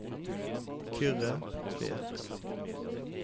Kyrre Tvedt